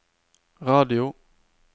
radio